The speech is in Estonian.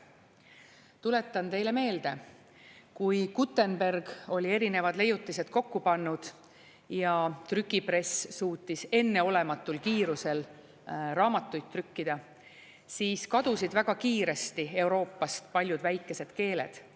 Tuletan teile meelde, kui Gutenberg oli erinevad leiutised kokku pannud ja trükipress suutis enneolematul kiirusel raamatuid trükkida, siis kadusid väga kiiresti Euroopast paljud väikesed keeled.